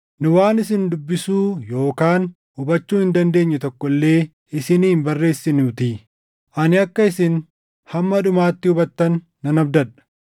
Nu waan isin dubbisuu yookaan hubachuu hin dandeenye tokko illee isinii hin barreessinuutii. Ani akka isin hamma dhumaatti hubattan nan abdadha;